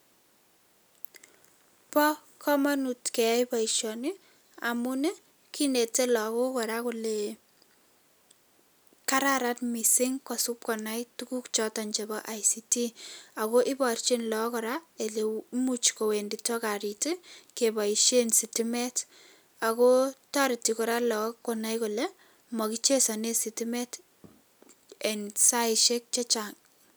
Bo kamanut keyai boisioni amun kinetei laok kora kele kararan mising kosipkoni tuguk choto chebo ICT ako iporchin lauk kora ole imuch kowendiro karit kepoishen sitimet ako toreti kora lakok konai kole makichesane sitimet eng saishek chechang.